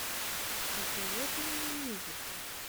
посоветуй мне мюзикл